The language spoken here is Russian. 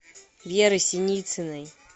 веры синицыной